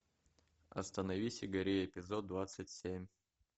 остановись и гори эпизод двадцать семь